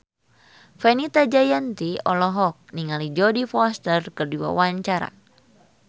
Fenita Jayanti olohok ningali Jodie Foster keur diwawancara